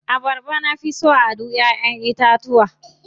Abarba na fi so a duk cikin ƴaʼƴen itatuwa.